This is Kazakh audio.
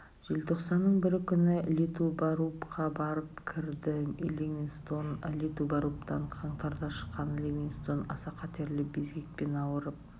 желтоқсанның бірі күні литубарубқа барып кірді ливингстон литубарубтан қаңтарда шыққан ливингстон аса қатерлі безгекпен ауырып